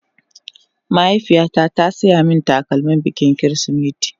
Mahaifiya ta ta siya min takalmin bikin kirisimeti